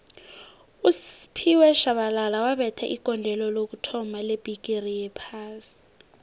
usphiwe shabalala wabetha igondelo lokuthoma lebhigixi yophasi